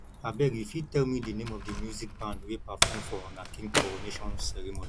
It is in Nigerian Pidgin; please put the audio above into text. abeg you fit tell me di name of the music band wey perform for una king coronation ceremony